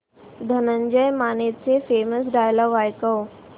धनंजय मानेचे famous dialogue ऐकव